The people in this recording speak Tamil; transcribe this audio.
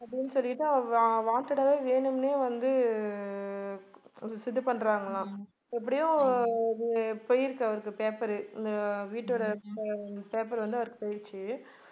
அப்படின்னு சொல்லிட்டு wanted ஆவே வேணும்னே வந்து உ இது பண்றாங்களாம் எப்படியும் அது போயிருக்கு அவருக்கு paper உஅஹ் வீட்டோட pa~ paper வந்து அவருக்கு போயிடுச்சு